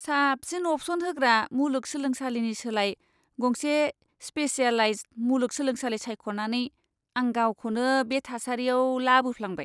साबसिन अप्शन होग्रा मुलुग सोलोंसालिनि सोलाय गंसे स्पेसियेलाइज्द मुलुग सोलोंसालि सायख'नानै आं गावखौनो बे थासारियाव लाबोफ्लांबाय!